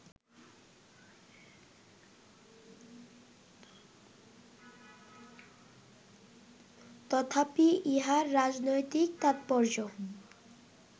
তথাপি ইহার রাজনৈতিক তাৎপর্য